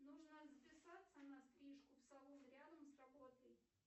нужно записаться на стрижку в салон рядом с работой